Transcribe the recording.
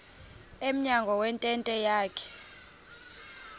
emnyango wentente yakhe